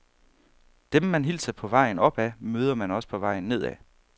Dem man hilser på vejen opad, møder man også på vejen nedad.